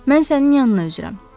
Mən sənin yanına üzürəm.